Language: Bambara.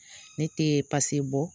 Ne tɛ bɔ.